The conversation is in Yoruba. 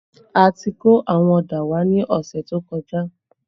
A ti kó àwọn ọ̀dà wá ní ọ̀sẹ̀ tó kọjá